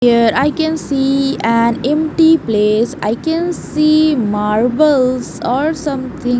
here i can see an empty place i can see marbles or something.